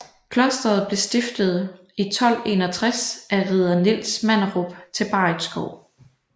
Klosteret blev stiftet i 1261 af ridder Niels Manderup til Barritskov